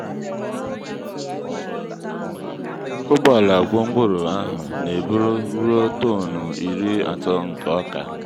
ụgbọala gwongworo ahụ na-eburu ruo tọn iri atọ nke oka.